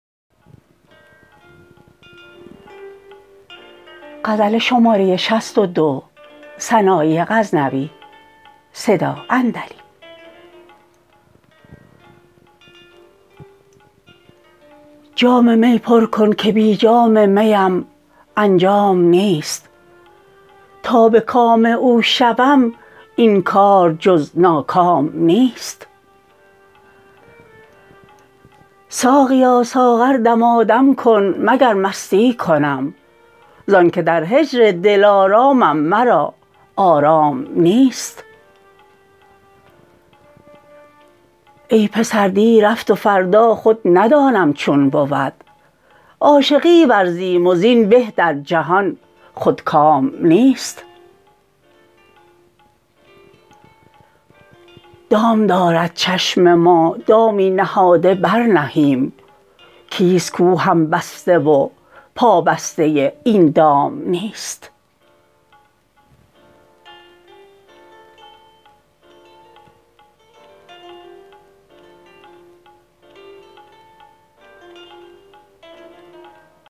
جام می پر کن که بی جام میم انجام نیست تا به کام او شوم این کار جز ناکام نیست ساقیا ساغر دمادم کن مگر مستی کنم زان که در هجر دلارامم مرا آرام نیست ای پسر دی رفت و فردا خود ندانم چون بود عاشقی ورزیم و زین به در جهان خودکام نیست دام دارد چشم ما دامی نهاده بر نهیم کیست کو هم بسته و پا بسته این دام نیست